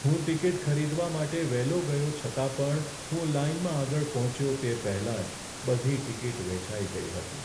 હું ટિકિટ ખરીદવા માટે વહેલો ગયો છતાં પણ હું લાઈનમાં આગળ પહોંચ્યો તે પહેલાં જ બધી ટિકિટ વેચાઈ ગઈ હતી.